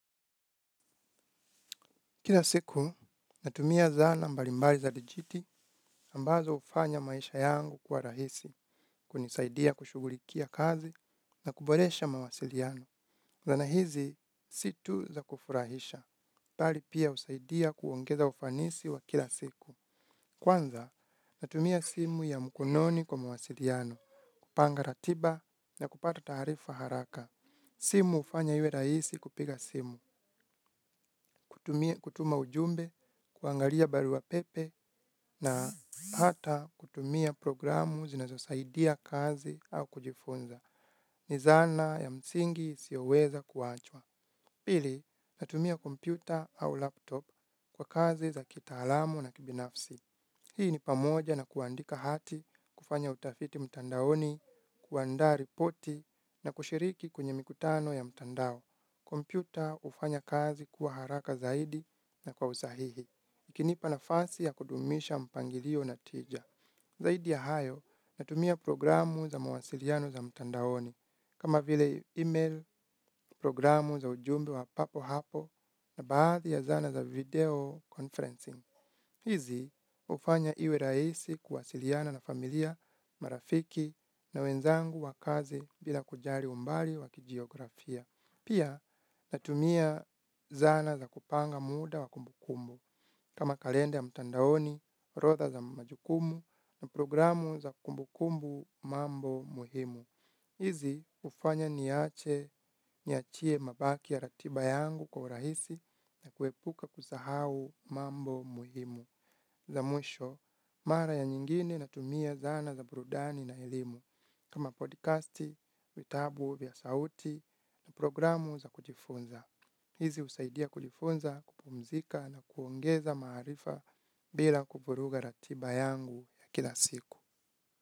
Kila siku, natumia zana mbalimbali za dijiti ambazo hufanya maisha yangu kuwa rahisi. Kunisaidia kushughulikia kazi na kuboresha mawasiliano. Zana hizi, si tu za kufurahisha. Bali pia husaidia kuongeza ufanisi wa kila siku. Kwanza, natumia simu ya mkononi kwa mawasiliano. Kupanga ratiba na kupata taarifa haraka. Simu hufanya iwe rahisi kupiga simu. Kutuma ujumbe, kuangalia barua pepe na hata kutumia programu zinazosaidia kazi au kujifunza. Ni zana ya msingi sioweza kuachwa. Pili, natumia kompyuta au laptop kwa kazi za kitaalamu na kibinafsi. Hii ni pamoja na kuandika hati, kufanya utafiti mtandaoni, kuandaa ripoti na kushiriki kwenye mikutano ya mtandao. Kompyuta hufanya kazi kuwa haraka zaidi na kwa usahihi. Ikinipa nafasi ya kudumisha mpangilio na tija. Zaidi ya hayo natumia programu za mawasiliano za mtandaoni kama vile email, programu za ujumbe wa papo hapo na baadhi ya zana za video conferencing. Hizi hufanya iwe rahisi kuwasiliana na familia marafiki na wenzangu wa kazi bila kujali umbali wa kijiografia. Pia natumia zana za kupanga muda wa kumbukumbu kama kalenda ya mtandaoni, orodha za majukumu na programu za kumbu kumbu mambo muhimu. Hizi hufanya niache niachie mabaki ya ratiba yangu kwa urahisi na kuepuka kusahau mambo muhimu. La mwisho, mara ya nyingine natumia zana za burudani na elimu kama podcasti, vitabu vya sauti na programu za kujifunza. Hizi husaidia kujifunza, kupumzika na kuongeza maarifa bila kuvuruga ratiba yangu ya kila siku.